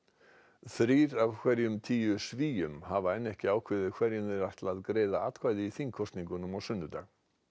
þrír af hverjum tíu Svíum hafa ekki ákveðið hverjum þeir ætla að greiða atkvæði í þingkosningum á sunnudag